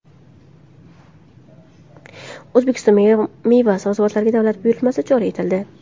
O‘zbekistonda meva-sabzavotga davlat buyurtmasi joriy etildi .